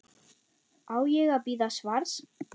Á ég að bíða svars?